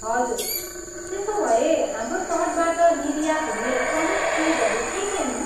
हजुर! त्यसोभए हाम्रो तटबाट निर्यात हुने प्रमुख चिजहरू के के हुन्?